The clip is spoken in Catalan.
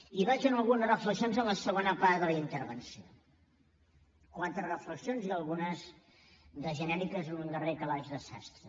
i vaig amb algunes reflexions a la segona part de la intervenció quatre reflexions i algunes de genèriques en un darrer calaix de sastre